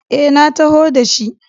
E, na taho da shi.